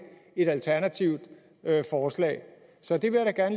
et alternativt forslag så det vil jeg da